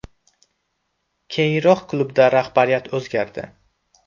Keyinroq klubda rahbariyat o‘zgardi.